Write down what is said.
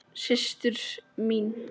Systir mín.